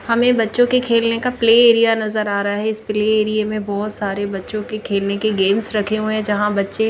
हमें बच्चों के खेलने का प्ले एरिया नजर आ रहा है इस प्ले एरिए में बहुत सारे बच्चों के खेलने के गेम्स रखे हुए हैं यहां बच्चे--